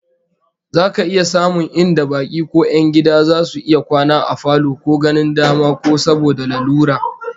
Za ka iya samun inda baki ko 'yan gida zasu iya kwana a falo ko ganin dama ko saboda lalura